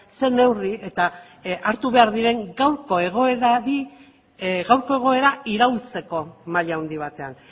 zer neurri eta hartu behar diren gaurko egoera iraultzeko maila handi batean